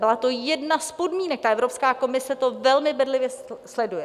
Byla to jedna z podmínek a Evropská komise to velmi bedlivě sleduje.